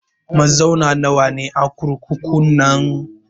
Mazauna nawa ne a kurkukun nan?